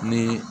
Ni